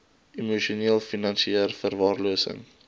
emosioneel finansieel verwaarlosing